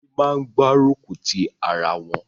Ebí máa ń gbárùkù ti ara wọn.